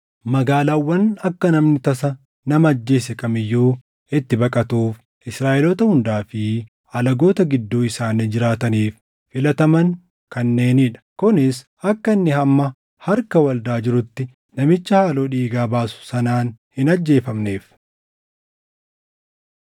Magaalaawwan akka namni tasa nama ajjeese kam iyyuu itti baqatuuf Israaʼeloota hundaa fi alagoota gidduu isaanii jiraataniif filataman kanneenii dha; kunis akka inni hamma harka waldaa jirutti namicha haaloo dhiigaa baasu sanaan hin ajjeefamneef.